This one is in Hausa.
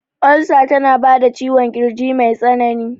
Olsa tana bada ciwon kirji mai tsanani